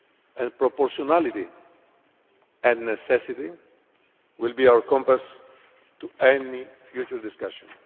And proportionality and necessity will be our compass in any future discussion.